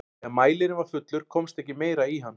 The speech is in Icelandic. þegar mælirinn var fullur komst ekki meira í hann